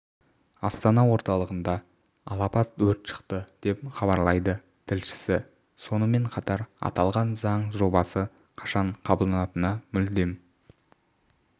астана орталығында алапат өрт шықты деп хабарлайды тілшісі сонымен қатар аталған заң жобасы қашан қабылданатыны мүлдем